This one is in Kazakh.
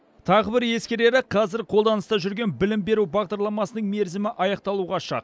тағы бір ескерері қазір қолданыста жүрген білім беру бағдарламасының мерзімі аяқталуға шақ